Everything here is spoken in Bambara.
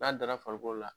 N'a dara farikolo la